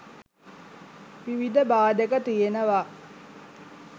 විවිධ බාධක තියනවා.